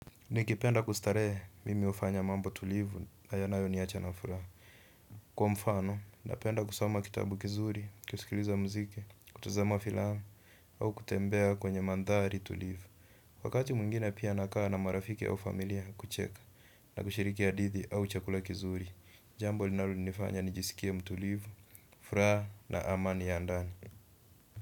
Nikipenda kustarehe mimi hufanya mambo tulivu na yanayo niacha na furaha. Kwa mfano, napenda kusoma kitabu kizuri, kusikiliza mziki, kutuzama filamu, au kutembea kwenye mandhari tulivu. Wakati mwingine pia nakaa na marafiki au familia kucheka na kushiriki hadithi au chakula kizuri, jambo linalo nifanya nijisikie mtulivu, furaha na amani ya ndani.